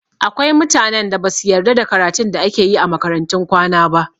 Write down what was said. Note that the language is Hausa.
Akwai mutanen da basu yarda da karatun da ake yi a makarantun kwana ba